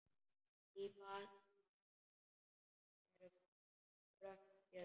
Í baksýn eru brött fjöll.